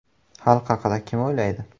Xalq haqida kim o‘ylaydi?